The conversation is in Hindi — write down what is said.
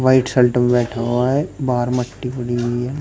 व्हाइट शल्ट में बैठा हुआ है बाहर मट्टी पड़ी हुई है।